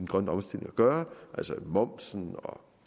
grønne omstilling at gøre altså momsen og